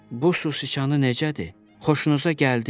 Bu sicanı necədir, xoşunuza gəldimi?